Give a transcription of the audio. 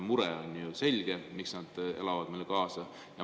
On selge, miks nad elavad meile kaasa.